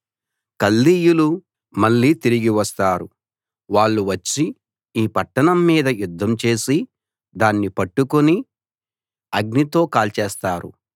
కల్దీయులు మళ్ళీ తిరిగి వస్తారు వాళ్ళు వచ్చి ఈ పట్టణం మీద యుద్ధం చేసి దాని పట్టుకుని అగ్నితో కాల్చేస్తారు